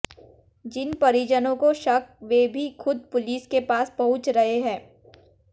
जिन परिजनों काे शक वे भी खुद पुलिस के पास पहुंच रहे हैं